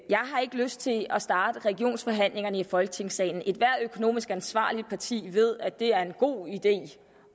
jeg har ikke lyst til at starte regionsforhandlingerne i folketingssalen ethvert økonomisk ansvarligt parti ved at det er en god idé